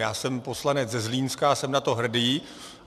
Já jsem poslanec ze Zlínska a jsem na to hrdý.